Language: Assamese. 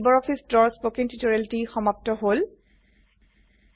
ইয়াতে লাইব্ৰঅফিছ ড্ৰৰ স্পকেন টিউটোৰিয়েলটি সমাপ্ত হল